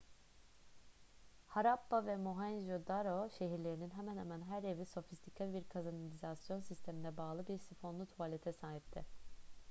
harappa ve mohenjo-daro şehirlerinin hemen hemen her evi sofistike bir kanalizasyon sistemine bağlı bir sifonlu tuvalete sahipti